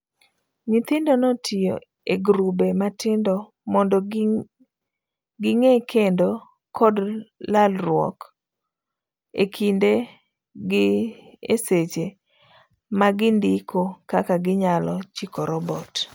Nyithindo notiyo e girube matindo mondo ging'i kendo kod lalruok ekindgieseche magindiko kaka ginyalo chiko robot.